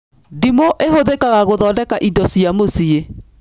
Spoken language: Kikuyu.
Ndimũ ĩhũthĩkaga gũthondeka indo cia mũciĩ